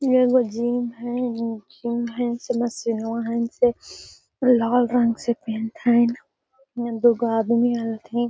एगो जिम हेय जिम हेय सेन मशीनवा हेय सेन लाल रंग से पेंट हेय इने दू गो आदमी आएल हथीन।